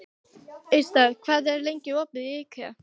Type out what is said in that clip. Austar, hvað er lengi opið í IKEA?